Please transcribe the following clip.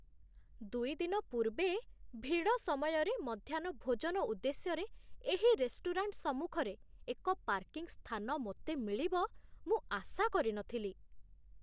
ଦୁଇ ଦିନ ପୂର୍ବେ, ଭିଡ଼ ସମୟରେ ମଧ୍ୟାହ୍ନ ଭୋଜନ ଉଦ୍ଦେଶ୍ୟରେ ଏହି ରେଷ୍ଟୁରାଣ୍ଟ୍ ସମ୍ମୁଖରେ ଏକ ପାର୍କିଂ ସ୍ଥାନ ମୋତେ ମିଳିବ, ମୁଁ ଆଶା କରି ନ ଥିଲି।